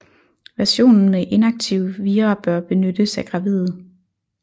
Versionen med inaktive vira bør benyttes af gravide